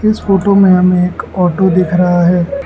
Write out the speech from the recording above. इस फोटो में हमें एक ऑटो दिख रहा है।